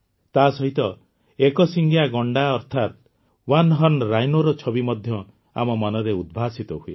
ତାସହିତ ଏକଶିଙ୍ଗିଆ ଗଣ୍ଡା ଅର୍ଥାତ ୱାନ୍ ହର୍ଣ୍ଣ ରାଇନୋର ଛବି ମଧ୍ୟ ଆମ ମନରେ ଉଦ୍ଭାସିତ ହୁଏ